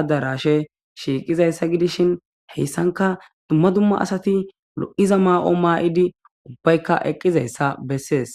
adarashe shiiqizayssa gidishin heyssanka dumma dumma asati lo'iza maa7o maa7idi ubbaykka eqqizayssa bessees.